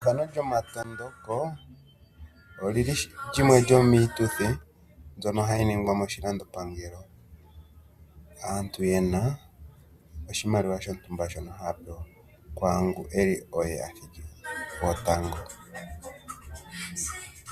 Ethigathano lyokumatuka oli li limwe lyomiituthi mbyono hayi ningwa moshilandopangelo aantu ye na oshimaliwa shontumba shono haya pewa kwaangu oye athiki gwotango.